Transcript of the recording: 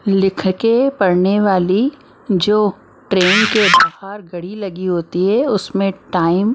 लिख के पढ़ने वाली जो ट्रेन के बाहर घड़ी लगी होती है उसमें टाइम ।